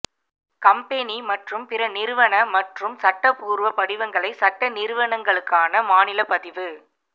company மற்றும் பிற நிறுவன மற்றும் சட்டப்பூர்வ படிவங்களை சட்ட நிறுவனங்களுக்கான மாநில பதிவு